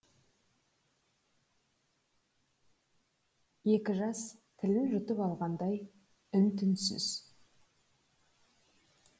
екі жас тілін жұтып алғандай үн түнсіз